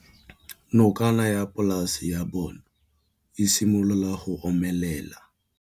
Nokana ya polase ya bona, e simolola go omelela.